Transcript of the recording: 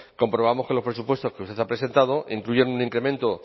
comprobamos que los presupuestos que usted ha presentado incluyen un incremento